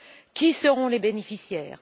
Qui seront les bénéficiaires?